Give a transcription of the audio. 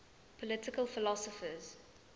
political philosophers